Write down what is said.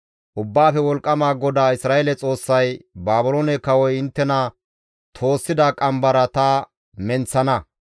«Ubbaafe Wolqqama GODAA Isra7eele Xoossay, ‹Baabiloone kawoy inttena toossida qambara ta menththana.